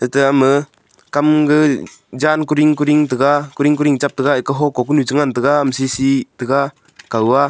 eta ma kam ga jan kuding kuding chaga kuding kuding chak taga eka hokuh ko konu cha ngan taga ama sisi cha ngan taga kao a.